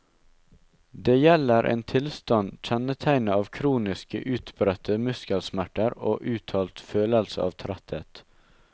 Det gjelder en tilstand kjennetegnet av kroniske, utbredte muskelsmerter og uttalt følelse av tretthet.